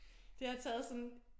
Det har taget sådan